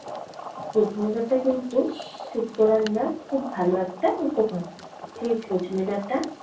সজনে ডাঁটা কিন্তু শুক্তো রান্নার খুব ভালো একটা উপকরণ। সেই সজনে ডাঁটা